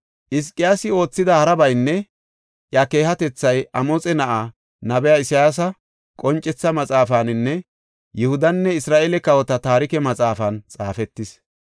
Hizqiyaasi oothida harabaynne iya keehatethay Amoxe Na7aa, nabiya Isayaasa qoncetha maxaafaninne Yihudanne Isra7eele kawota taarike maxaafan xaafetis.